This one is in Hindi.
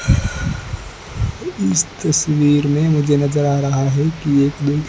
इस तस्वीर में मुझे नजर आ रहा है की एक लोग--